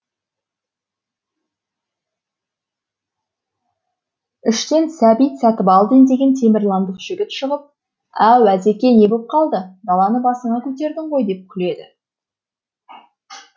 іштен сәбит сатыбалдин деген темірландық жігіт шығып әу әзеке не боп қалды даланы басыңа көтердің ғой деп күледі